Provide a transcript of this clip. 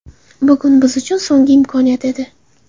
Bugun biz uchun so‘nggi imkoniyat edi.